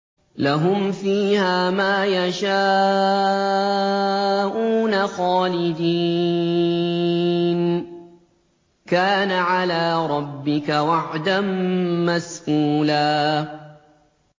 لَّهُمْ فِيهَا مَا يَشَاءُونَ خَالِدِينَ ۚ كَانَ عَلَىٰ رَبِّكَ وَعْدًا مَّسْئُولًا